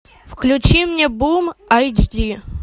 включи мне бум эйч ди